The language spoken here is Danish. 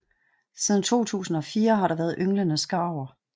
Siden 2004 har der været ynglende skarver